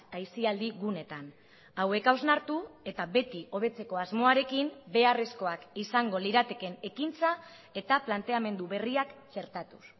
aisialdi guneetan hauek hausnartu eta beti hobetzeko asmoarekin beharrezkoak izango liratekeen ekintza eta planteamendu berriak txertatuz